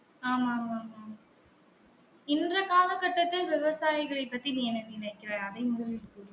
ஆமா ஆமா ஆமா ஆமா இன்றைய கால கட்டத்தில் விவசாயிகளை பத்தி நீ என்ன நினைக்கிறாய்? அதை முதலில் சொல்லு